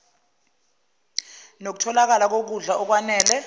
nokutholakala kokudla okwanele